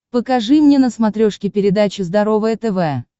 покажи мне на смотрешке передачу здоровое тв